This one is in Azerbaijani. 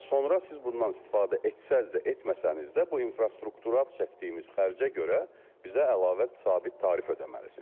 Və sonra siz bundan istifadə etsəniz də, etməsəniz də bu infrastruktural çəkdiyimiz xərcə görə bizə əlavə sabit tarif ödəməlisiniz.